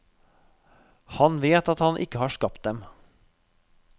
Han vet at han ikke har skapt dem.